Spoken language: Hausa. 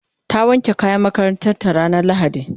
ta wanke kayan makarantanta ranar lahadi